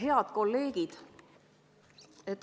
Head kolleegid!